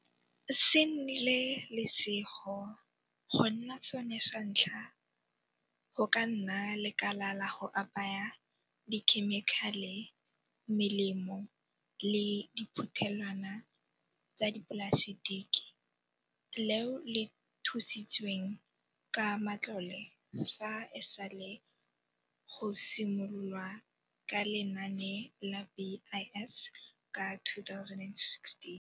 Se nnile lesego go nna sone sa ntlha go ka nna lekala la go apaya dikhemikhale, melemo le diphuthelwana tsa dipolasetiki leo le thusitsweng ka matlole fa e sale go simolo lwa ka Lenaane la BIS ka 2016.